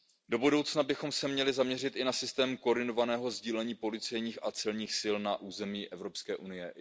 Do budoucna bychom se měli zaměřit i na systém koordinovaného sdílení policejních a celních sil na území Evropské unie.